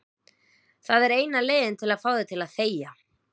Það er eina leiðin til að fá þig til að þegja.